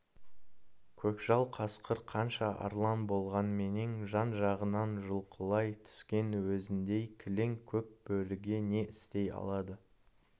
көкжал қасқыр қанша арлан болғанменен жан-жағынан жұлқылай түскен өзіндей кілең көк бөріге не істей алады